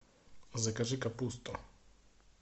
закажи капусту